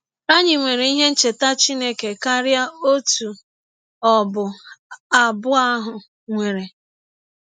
Anyị nwere ihe ncheta Chineke karịa ọtụ ọbụ abụ ahụ nwere.